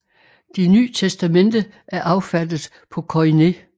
Det Ny Testamente er affattet på koiné